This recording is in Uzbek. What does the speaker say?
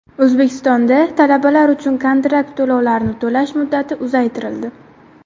O‘zbekistonda talabalar uchun kontrakt to‘lovlarini to‘lash muddati uzaytirildi.